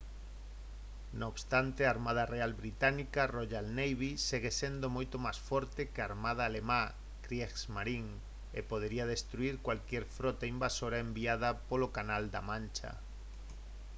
non obstante a armada real británica «royal navy» segue sendo moito máis forte que a armada alemá «kriegsmarine» e podería destruír calquera frota invasora enviada polo canal da mancha